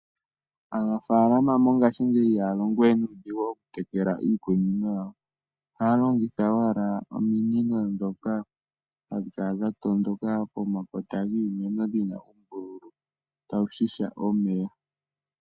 Aanafaalama mongashingeyi ihaa longo we nuudhigu okutekela iikunino yawo. Ohaa longitha owala ominino ndhoka hadhi kala dha tondoka pomakota giimeno dhi na uumbululu tawu ziya omeya.